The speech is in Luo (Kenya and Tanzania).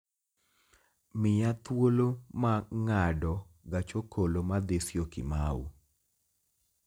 miya thuolo ma ng'ado gach okolo madhi syokimau